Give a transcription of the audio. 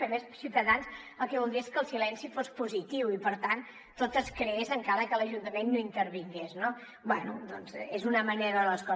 perquè a més ciutadans el que voldria és que el silenci fos positiu i per tant que tot es creés encara que l’ajuntament no hi intervingués no bé és una manera de veure les coses